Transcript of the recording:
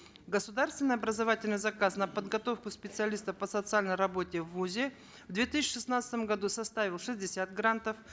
государственный образовательный заказ на подготовку специалистов по социальной работе в вузе в две тысячи шестнадцатом году составил шестьдесят грантов